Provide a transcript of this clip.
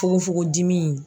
Fogonfogon dimi.